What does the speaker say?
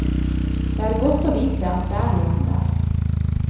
Det er godt å vite at det er noen der.